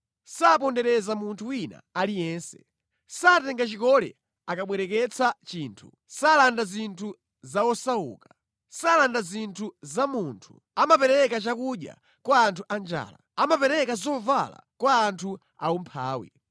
Sapondereza munthu wina aliyense. Satenga chikole akabwereketsa chinthu. Salanda zinthu za osauka. Salanda zinthu za munthu. Amapereka chakudya kwa anthu anjala. Amapereka zovala kwa anthu aumphawi.